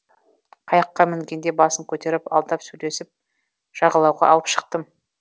қайыққа мінгенде басын көтеріп алдап сөйлесіп жағалауға алып шықтым